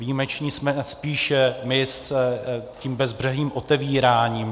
Výjimeční jsme spíš my s tím bezbřehým otevíráním.